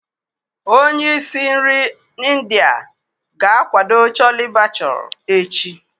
Onye isi nri India ga-akwado Chole bhature echi.